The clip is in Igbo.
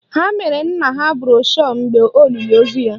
Ha mere nna ha broshu mgbe olili ozu ya